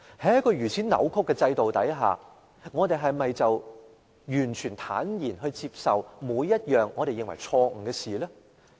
在一個如此扭曲的制度下，民主派是否要坦然接受每一項我們認為錯誤的事情？